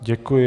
Děkuji.